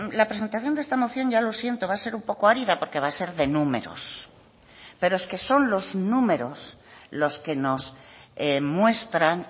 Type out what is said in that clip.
la presentación de esta moción ya lo siento va a ser un poco árida porque va a ser de números pero es que son los números los que nos muestran